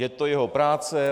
Je to jeho práce.